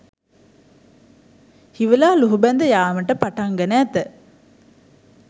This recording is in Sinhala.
හිවලා ලූහුබැඳ යාමට පටන් ගෙන ඇත